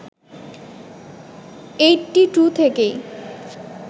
eighty two থেকেই